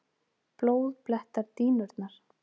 Blóð blettar dýnurnar.